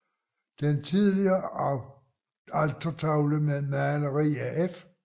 Den tidligere altertavle med maleri af F